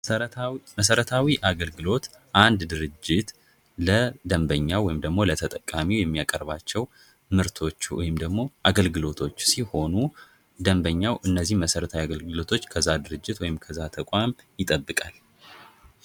መሠረተ መሠረታዊ አገልግሎት አንድ ድርጀት ለተጠቃሚ የሚያቀርባቸው ምርቶች ወይም ደግሞ አገልግሎቶች ሲሆኑ ደንበኛው እነዚህ መሠረታዊ አገልግሎቶች ከዛ ድርጅት ወይም ደግሞ ከዛ ተቋም ይጠብቃል።